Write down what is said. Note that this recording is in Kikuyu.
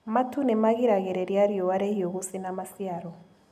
Matu nĩmagiragĩrĩria riua rĩhiũ gũcina maciaro.